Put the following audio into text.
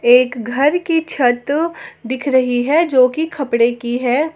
एक घर की छत दिख रही है जोकि खपड़े की है।